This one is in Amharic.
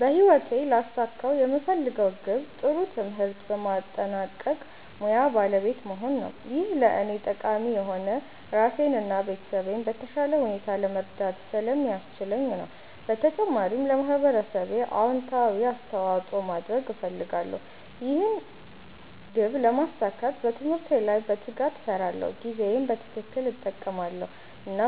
በህይወቴ ሊያሳኩት የምፈልገው ግብ ጥሩ ትምህርት በማጠናቀቅ ሙያ ባለቤት መሆን ነው። ይህ ለእኔ ጠቃሚ የሆነው ራሴን እና ቤተሰቤን በተሻለ ሁኔታ ለመርዳት ስለሚያስችለኝ ነው። በተጨማሪም ለማህበረሰቤ አዎንታዊ አስተዋፅኦ ማድረግ እፈልጋለሁ። ይህን ግብ ለማሳካት በትምህርቴ ላይ በትጋት እሰራለሁ፣ ጊዜዬን በትክክል እጠቀማለሁ እና